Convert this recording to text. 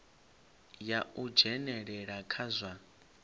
ya u dzhenelela kha zwa